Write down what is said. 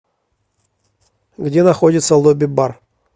где находится лобби бар